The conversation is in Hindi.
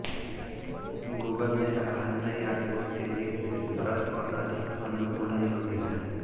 गूगल ने कहा नई ऑर्कुट तेजी से सरल और अधिक अनुकूलन योग्य है